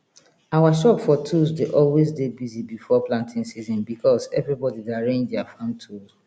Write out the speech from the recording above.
our shop for tools dey alway dey busy before planting season becos everybody dey arrange dier farm tool